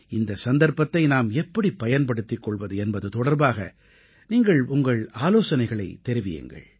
இந்தச் சந்தர்ப்பத்தை நாம் எப்படி பயன்படுத்திக் கொள்வது என்பது தொடர்பாக நீங்கள் உங்கள் ஆலோசனைகளைத் தெரிவியுங்கள்